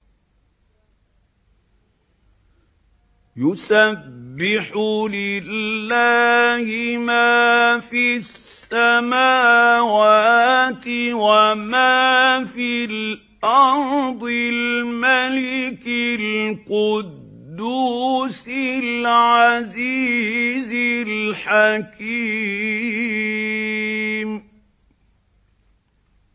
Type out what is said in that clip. يُسَبِّحُ لِلَّهِ مَا فِي السَّمَاوَاتِ وَمَا فِي الْأَرْضِ الْمَلِكِ الْقُدُّوسِ الْعَزِيزِ الْحَكِيمِ